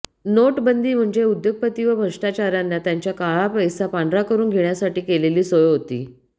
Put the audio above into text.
नोटबंदी म्हणजे उद्योगपती व भ्रष्टाचाऱ्यांना त्यांच्या काळा पैसा पांढरा करुन घेण्यासाठी केलेली सोय होती